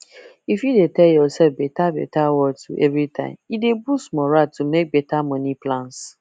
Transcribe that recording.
if you dey tell yourself beta beta words everytime e dey boost moral to make better money plans